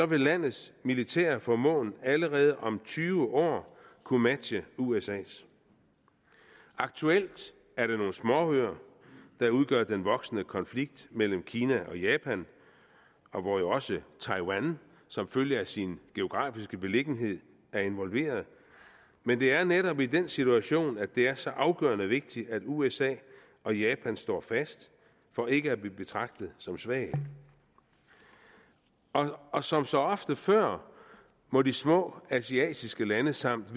vil landets militære formåen allerede om tyve år kunne matche usas aktuelt er det nogle småøer der udgør den voksende konflikt mellem kina og japan og hvor jo også taiwan som følge af sin geografiske beliggenhed er involveret men det er netop i den situation at det er så afgørende vigtigt at usa og japan står fast for ikke at blive betragtet som svage og som så ofte før må de små asiatiske lande samt